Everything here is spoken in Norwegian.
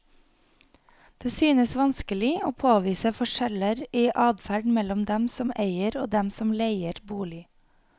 Det synes vanskelig å påvise forskjeller i adferd mellom dem som eier og dem som leier bolig.